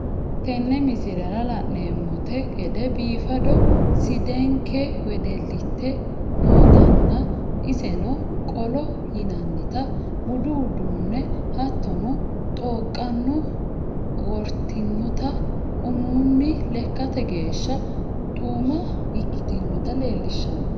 Teene miislera lanemonnte geede biifado sidenkee wedelitte nootana esseno qollo yiinanita buudu uudanona haatono xooqano wortinnota uumunni leekate geshshaa xuuma ikktnota lelshano.